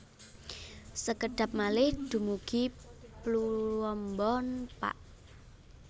Sekedhap malih dumugi Pluombon Pak